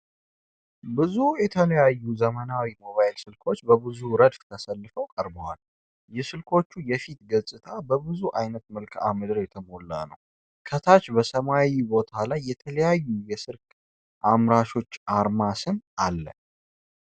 ብዙ የተለያዩ ዘመናዊ ሞባይል ስልኮች በብዙ ረድፍ ተሰልፈው ቀርበዋል፡፡ የስልኮቹ የፊት ገጽታ በብዙ አይነት መልክአምድር የተሞላ ነው፡፡ ከታች በሰማያዊ ቦታ ላይ የተለያዩ የስልክ አምራቾች አርማና ስም አለ፡፡